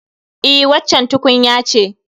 E, waccan tukunya ce